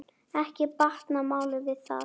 Ekki batnar málið við það.